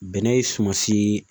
Bɛnɛ ye sumansi